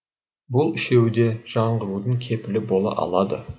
бұл үшеуі де жаңғырудың кепілі бола алады